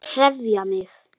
HREYFA MIG!